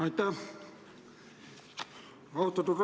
Aitäh!